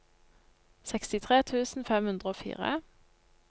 sekstitre tusen fem hundre og fire